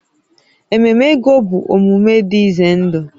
Ememe ego bụ omume dị ize ndụ